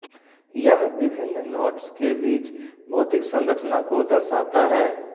यह विभिन्न नोड्स के बीच भौतिक संरचना को दर्शाता है